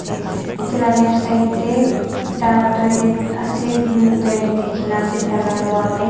te edu la left side tae green toilet likhina ase taila wall tae.